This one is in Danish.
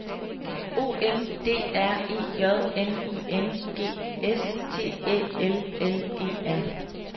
O M D R E J N I N G S T Æ L L E R